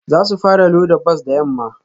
Za su fara loda bas da yamma